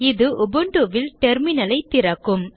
இது Ubuntu ல் terminal ஐ திறக்கும்